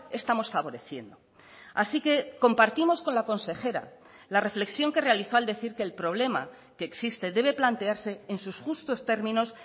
estamos favoreciendo así que compartimos con la consejera la reflexión que realizó al decir que el problema que existe debe plantearse en sus justos términos